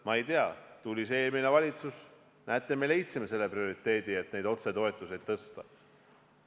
Ma ei tea, tuli eelmine valitsus, näete, me võtsime prioriteediks, et neid otsetoetusi tõsta.